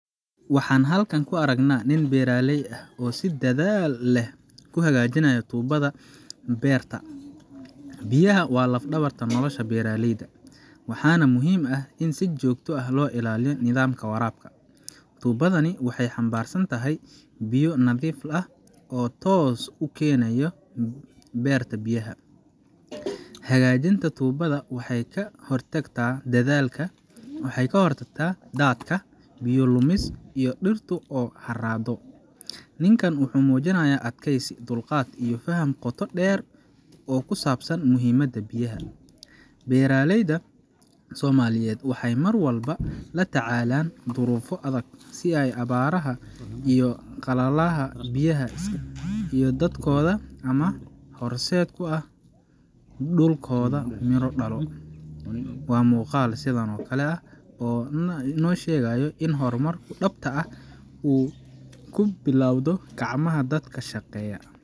Waxaan halkan ku aragnaa nin beeraley ah oo si dadaal leh u hagaajinaya tuubada biyaha ee beerta u keenta. Biyaha waa laf-dhabarta nolosha beeraleyda, waxaana muhiim ah in si joogto ah loo ilaaliyo nidaamka waraabka. Tuubadani waxay xambaarsan tahay biyo nadiif ah oo toos ah ugu qulqulaya dhirta beerta ku taalla. Hagaajinta tuubada waxay ka hortagtaa daadka, biyo lumis iyo dhirtu oo harraado . Ninkan wuxuu muujinayaa adkeysi, dulqaad iyo faham qoto dheer oo ku saabsan muhiimadda biyaha. Beeraleyda Soomaaliyeed waxay mar walba la tacaalaan duruufo adag si ay abaaraha iyo qalalaha biyaha, iyo dadkooda ama horseed u ah dhulkooda miro dhalo. Waa muuqaal sidan oo kale ah oo noo sheegaya in hormarku dhabta ah uu ka bilowdo gacmaha dadka shaqeeya.